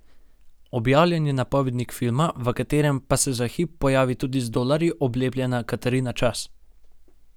Objavljen je napovednik filma, v katerem pa se za hip pojavi tudi z dolarji oblepljena Katarina Čas.